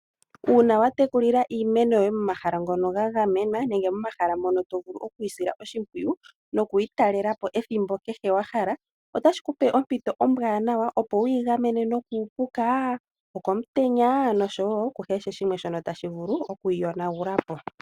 Uuna wa meneka iimeno yoye momahala ngoka wa gamenena nokuyi sila oshimpwiyu otashi kupe ompito ombwaanawa opo wu yigamene kuupuka, komutenya oshowo ku kehe shimwe shoka tashi vulu okuyiyonagulapo.